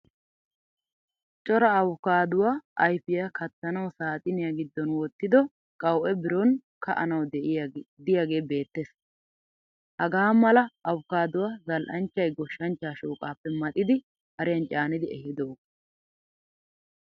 Cora avokkaduwaa ayfiyaa kattaanawu saaxiniyaa giddon wottido qawu'e biron ka'anawu diyage beettees. Hagaa mala avokaduwaa zal'anchchay goshshanchcha shooqappe maxidi hariyan caanidi ehidoga.